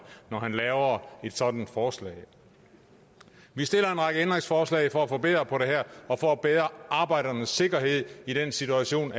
når han laver et sådant forslag vi stiller en række ændringsforslag for at forbedre det her og for at bedre arbejdernes sikkerhed i den situation